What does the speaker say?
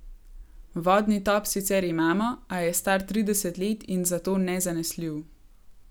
Vodni top sicer imamo, a je star trideset let in zato nezanesljiv.